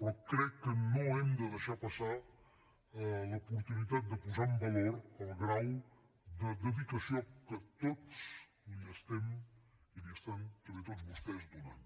però crec que no hem de deixar passar l’oportunitat de posar en valor el grau de dedicació que tots hi estem i hi estan també tots vostès donant